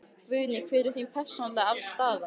Guðný: Hver er þín persónulega staða?